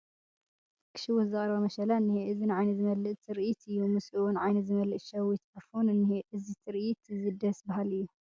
ክሽውት ዝቐረበ መሸላ እኒሀ፡፡ እዚ ንዓይኒ ዝመልዕ ትርኢት እዩ፡፡ ምስኡውን ዓይኒ ዝመልእ ሸዊት ዕፉን እኒሀ፡፡ እዚ ትርኢት እዚ ደስ በሃሊ እዩ፡፡